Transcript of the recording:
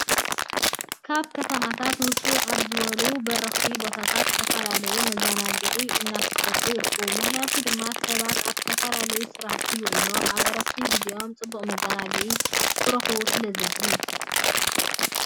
ካብ ከተማታት ውፅእ ኣብ ዝበሉ በረኽቲ ቦታታት ዝተፈላለዩ መዝናግዕታት እናተሰርሑ ይርከቡ። ምክንያቱ ድማ ሰባት ኣብ ዝተፈላለዩ ስራሕቲ ውዒሎም ኣብ ዕረፍቲ ግዚኦም ፅቡቅ መዘናግዒ ክረኽቡ ስለዝደልዩ።